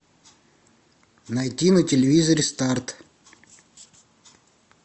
найти на телевизоре старт